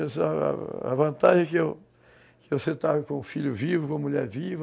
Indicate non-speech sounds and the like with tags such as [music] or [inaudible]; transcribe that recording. [unintelligible] A vantagem é que eu sentava com o filho vivo, com a mulher viva,